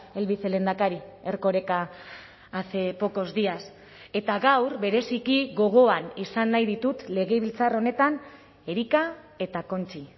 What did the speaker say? el vicelehendakari erkoreka hace pocos días eta gaur bereziki gogoan izan nahi ditut legebiltzar honetan érika eta conchi